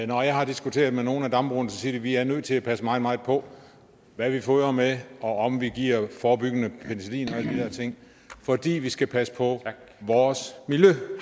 når jeg har diskuteret med nogle af dambrugerne siger de vi er nødt til at passe meget meget på hvad vi fodrer med og om vi giver forebyggende penicillin og alle de der ting fordi vi skal passe på vores